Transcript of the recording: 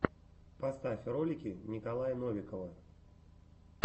поставь ролики николая новикова